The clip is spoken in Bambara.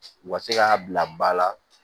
U ka se k'a bila ba la